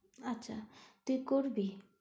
আচ্ছা তুই করবি?